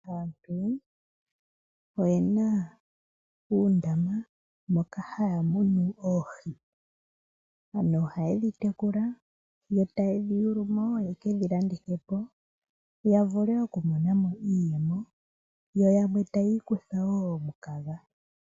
Aantu oye na uundama moka haya munu oohi. Aantu ihaye dhi tekula, e taye di yuulu mo ye kedhi landithe po, ya vule okumona mo iiyemo. Yo yamwe taya ikutha wo omukaga.